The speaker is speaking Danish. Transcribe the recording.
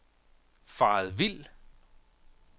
faret vild